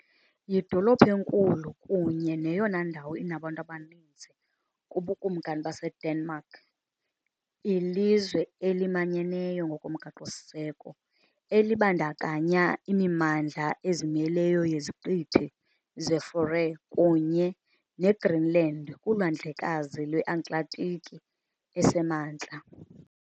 Yidolophu enkulu kunye neyona ndawo inabantu abaninzi kuBukumkani baseDenmark, ilizwe elimanyeneyo ngokomgaqo-siseko elibandakanya imimandla ezimeleyo yeZiqithi zeFaroe kunye neGreenland kuLwandlekazi lweAtlantiki eseMantla.